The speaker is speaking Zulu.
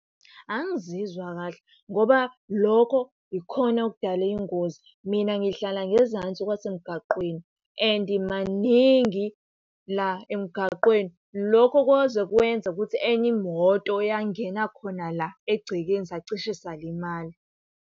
Angizizwa kahle ngoba lokho ikhona okudala iy'ngozi, mina ngihlala ngezanzi kwase mgaqweni and maningi la emgaqweni. Lokho kwaze kwenza ukuthi enye imoto yangena khona la egcekeni sacishe salimala.